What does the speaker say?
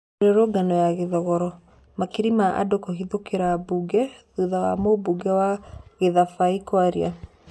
Mĩrũrũngano ya Gĩthogoro: makiri ma andũ kũhithũkĩra mbunge thũtha wa mũmbunge wa Gĩthabai kwaria